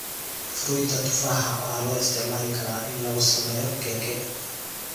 Fruita tufaaxa waxaa loo isticmaali karaa in lagu sameeyo keke.